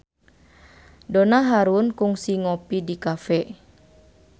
Donna Harun kungsi ngopi di cafe